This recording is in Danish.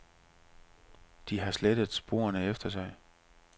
De har slettet sporene efter sig.